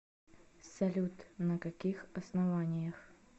салют на каких основаниях